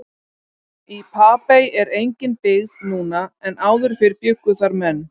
Í Papey er engin byggð núna en áður fyrr bjuggu þar menn.